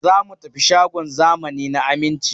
Za mu tafi shagon zamani na Aminci.